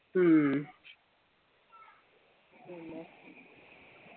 ഉം